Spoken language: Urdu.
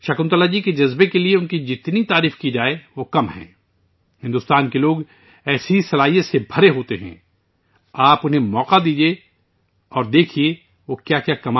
شکنتلا جی کے جذبے کو ان کے مقابلے میں کم سراہا جاتا ہے بھارت کے لوگ اس طرح کے ٹیلنٹ سے بھرے ہوئے ہیں آپ انھیں مواقع دیں اور دیکھیں کہ وہ کیا کرتے ہیں